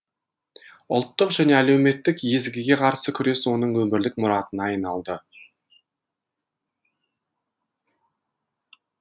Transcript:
ұлттық және әлеуметтік езгіге қарсы күрес оның өмірлік мұратына айналды